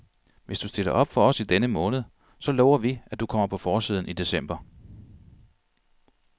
Hvis du stiller op for os i denne måned, så lover vi, at du kommer på forsiden i december.